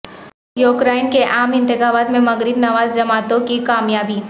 Ukraine کے عام انتخابات میں مغرب نواز جماعتوں کی کامیابی